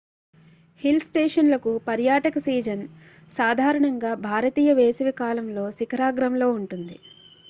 hill స్టేషన్లకు పర్యాటక season సాధారణంగా భారతీయ వేసవి కాలంలో శిఖరాగ్రం లో ఉంటుంది